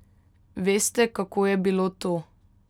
Veste kako je bilo to?